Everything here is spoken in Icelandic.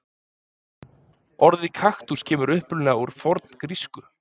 Orðið kaktus kemur upprunalega úr forngrísku.